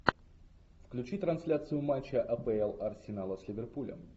включи трансляцию матча апл арсенала с ливерпулем